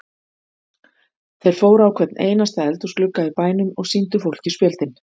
Þeir fóru á hvern einasta eldhúsglugga í bænum og sýndu fólki spjöldin.